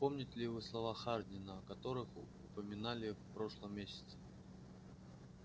помните ли вы слова хардина о которых упоминали в прошлом месяце